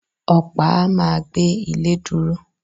Ọ̀pá a ma gbé ilé dúró